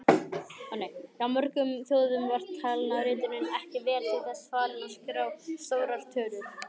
Hjá mörgum þjóðum var talnaritunin ekki vel til þess fallin að skrá stórar tölur.